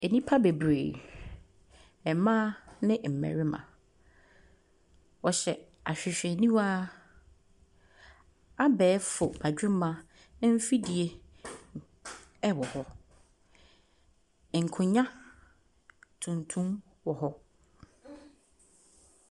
Nnipa bebree, mmaa ne mmarima, wɔhyɛ ahwehwɛniwa, abɛɛfo badwemba mfidie wɔ hɔ, nkonnwa tuntum wɔ hɔ.